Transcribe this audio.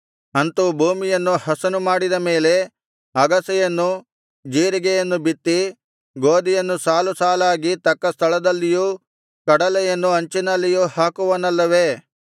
ಅಂತು ಭೂಮಿಯನ್ನು ಹಸನು ಮಾಡಿದ ಮೇಲೆ ಅಗಸೆಯನ್ನು ಜೀರಿಗೆಯನ್ನು ಬಿತ್ತಿ ಗೋದಿಯನ್ನು ಸಾಲು ಸಾಲಾಗಿ ತಕ್ಕ ಸ್ಥಳದಲ್ಲಿಯೂ ಕಡಲೆಯನ್ನು ಅಂಚಿನಲ್ಲಿಯೂ ಹಾಕುವನಲ್ಲವೆ